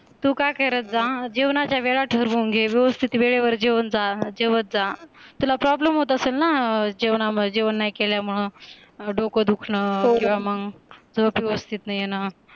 तू काय करत जा जेवणाच्या वेळा ठरवून घे व्यवस्थित वेळेवर जेवून जा जेवत जा, तुला PROBLEM होत असेल ना जेवणामुळे जेवण नाही केल्यामुळे, डोकं दुखणं किंवा मग झोप व्यवस्थित नाही येण